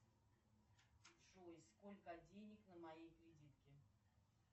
джой сколько денег на моей кредитке